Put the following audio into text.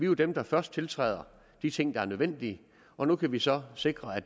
jo dem der først tiltræder de ting der er nødvendige og nu kan vi så sikre at